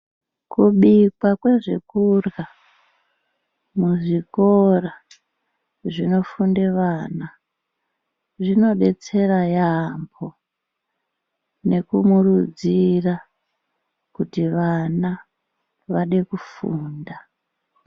Kubikwa kwezve kurhya muzvikora zvinofunde vana, zvino detsera yaampho nekumurudzira kuti vana vade kufunda.